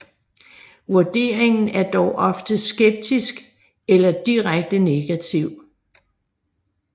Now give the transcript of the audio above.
Vurderingen er dog ofte skeptisk eller direkte negativ